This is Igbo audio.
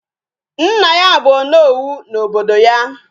Nna ya bu Onowu na obodo ya